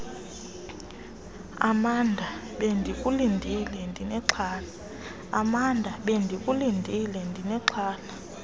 amanda bendikulindile ndinexhala